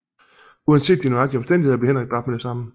Uanset de nøjagtige omstændigheder blev Henrik dræbt med det samme